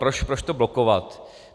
Proč to blokovat?